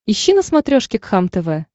ищи на смотрешке кхлм тв